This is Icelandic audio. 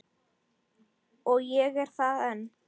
Og ég er það enn